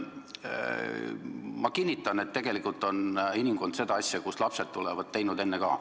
Ma kinnitan, et inimkond on seda asja, et kust lapsed tulevad, teinud enne ka.